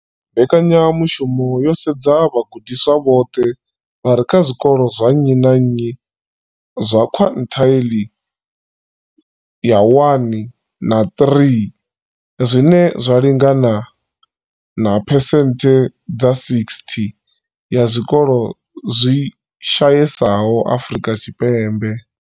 Mbekanyamushumo yo sedza vhagudiswa vhoṱhe vha re kha zwikolo zwa nnyi na nnyi zwa quintile 1 na 3, zwine zwa lingana na phesenthe dza 60 ya zwikolo zwi shayesaho Afrika Tshipembe.